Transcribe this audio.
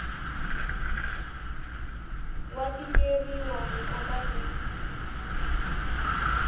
wa tikeriwa ku kota ku